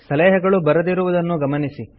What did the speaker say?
ಸಲಹೆಗಳು ಬರದಿರುವುದನ್ನು ಗಮನಿಸಿ